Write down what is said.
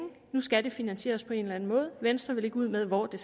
nu skal det finansieres på en eller anden måde venstre vil ikke ud med hvordan